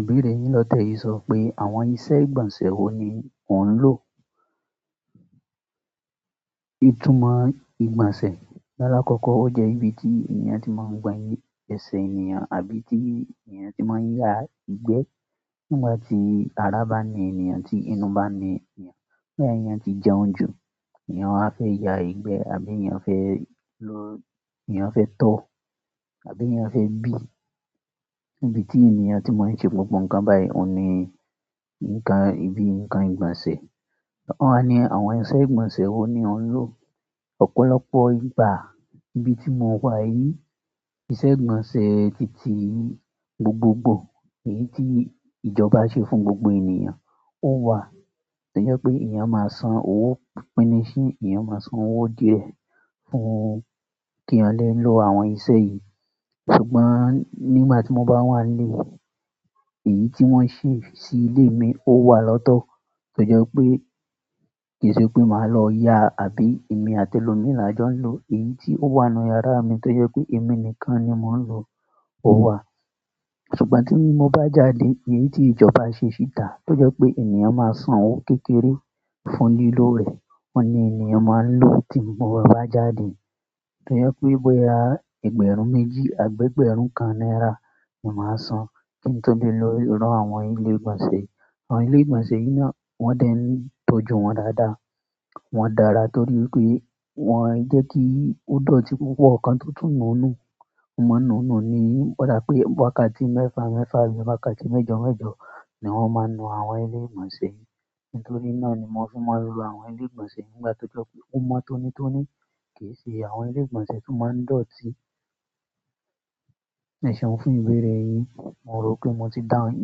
Ìbéèrè yin ló tẹ yi sọ pé àwọn ìṣe ìgbọ̀nsẹ̀ wo ni ó ń lò? Ìtumọ̀ ìgbọ̀nsẹ̀, lálàkọ́kọ́ ó jẹ́ ibi tí ènìyàn tí máa ń gba eṣẹ́ ènìyàn àbí tí ènìyàn tí máa ń yá ìgbẹ́. Nígbà tí ara bá ni èyàn, tí inú bá ni ènìyàn, nígbà tí ènìyàn ti jẹun jù, ènìyàn á fẹ́ ya ìgbẹ́, àbí ènìyàn fẹ́ lọ-- ènìyàn fẹ́ tọ̀, àbí ènìyàn fẹ́ bì. Ibi tí ènìyàn tí máa ń ṣe gbogbo nǹkan báyìí, ó ní nǹkan-- ibi nǹkan ìgbọ̀nsẹ̀. Won wá ni àwọn ìṣe ìgbọ̀nsẹ̀ wo ni ó ń lò? Ọ̀pọ̀lọpọ̀ ìgbà, ibi tí mo wà yìí, ìṣe ìgbọ̀nsẹ̀ titi gbogbogbò, èyí tí ìjọba ṣe fún gbogbo ènìyàn, ó wà. Tóje pé èyàn a máa san owó pínisì, èyàn máa san owó díẹ̀ fún kí ọ lẹ́ lò àwọn ìṣe yìí. Ṣùgbọ́n nígbà tí mo bá wà nílé, èyí tí wọ́n ṣe sí ilé mi ó wà lọ́tọ́. To je wipé kì í ṣe pé màá lọ ya, àbí èmi àti elomii la jọ ń lò. Èyí tí ó wà nínú yàrá mi, tóje pé èmi nìkan ni mò ń lò, ó wà. Ṣùgbọ́n tí mo bá jáde, èyí tí ìjọba ṣe síta, tóje pé ènìyàn máa san owó kékeré fún lílò rẹ̀, ó ni ènìyàn máa ń lò tí mo bá jáde. Tóje pé bọ́ya ẹgbẹ̀rún méjì, àgbẹ̀gbẹ̀rún kan náírà ni màá san kí n tó lè lọ ràn àwọn ilé ìgbọ̀nsẹ̀. Àwọn ilé ìgbọ̀nsẹ̀ yìí náà wọ́n dé ń tọ́jú wọn dáadáa. Wọn dára torí pé wọ́n i jẹ́ kí ó dọ̀tí púpọ̀ kan tó tún nù nù, maa n nù nù ni. Ó dá pé wákàtí mẹ́fà mẹ́fà àbí wákàtí méjọ méjọ ni wọ́n máa ń nu àwọn ilé ìgbọ̀nsẹ̀ yìí. Nítorí náà ni mo fi maa n lọ àwọn ilé ìgbọ̀nsẹ̀ nígbà tó jọ́ pé ó mọ́ tónítóní. Kì í ṣe àwọn ilé ìgbọ̀nsẹ̀ tó máa ń dọ̀tí. Ẹ̀ṣẹ̀un wọn fún ìbéèrè yin. Mo rò pé mo ti dáhùn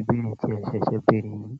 ìbéèrè tí ẹ ṣẹ̀ṣẹ̀ béèrè yìí.